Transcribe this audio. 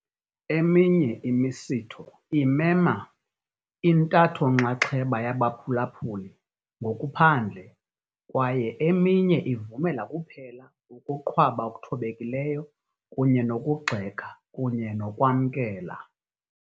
Eminye imisitho imema intatho-nxaxheba yabaphulaphuli ngokuphandle kwaye eminye ivumela kuphela ukuqhwaba okuthobekileyo kunye nokugxeka kunye nokwamkela.